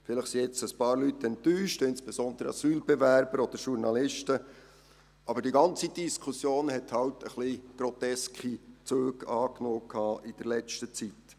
Vielleicht sind jetzt ein paar Leute enttäuscht, insbesondere Asylbewerber oder Journalisten, aber die ganze Diskussion hat halt ein wenig groteske Züge angenommen in letzter Zeit.